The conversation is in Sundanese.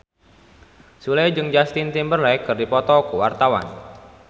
Sule jeung Justin Timberlake keur dipoto ku wartawan